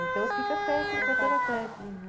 Então fica técnica pela técnica